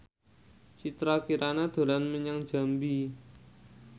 Citra Kirana dolan menyang Jambi